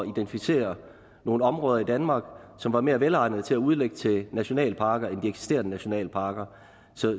identificere nogle områder i danmark som var mere velegnet til at udlægge til nationalparker end eksisterende nationalparker